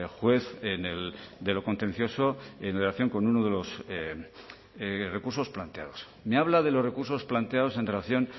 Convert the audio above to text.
juez de lo contencioso en relación con uno de los recursos planteados me habla de los recursos planteados en relación